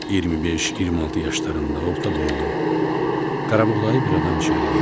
25-26 yaşlarında orta boylu, qarabuğdayı bir adam içəri girdi.